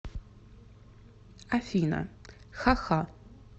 афина ха ха